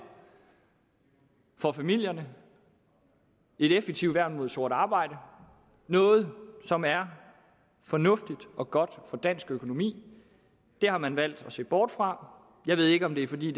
for familierne et effektivt værn mod sort arbejde noget som er fornuftigt og godt for dansk økonomi det har man valgt at se bort fra jeg ved ikke om det er fordi